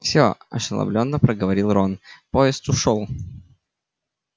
всё ошеломлённо проговорил рон поезд ушёл